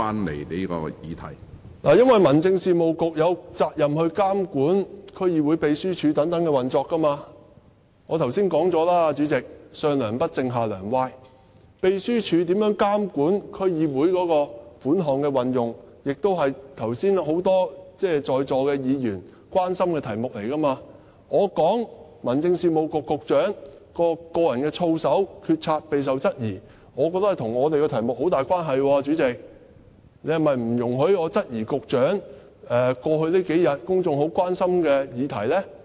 這是因為民政事務局有責任監管區議會秘書處等的運作，主席，我剛才已經說過，"上樑不正，下樑歪"，秘書處如何監管區議會款項的運用，也是剛才很多在座議員關心的題目，我說民政事務局局長的個人操守、決策備受質疑，我覺得這跟我們的題目很有關係，主席，你是否不容許我質疑一個與局長有關和在過去數天令公眾十分關心的議題呢？